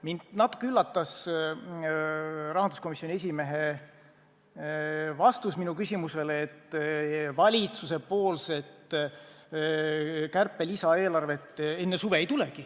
Mind natuke üllatas rahanduskomisjoni esimehe vastus minu küsimusele, et valitsuselt kärpe-lisaeelarvet enne suve ei tulegi.